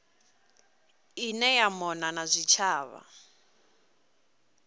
ine ya mona na zwitshavha